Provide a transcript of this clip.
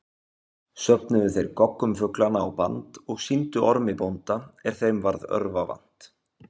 Söfnuðu þeir goggum fuglanna á band og sýndu Ormi bónda er þeim varð örva vant.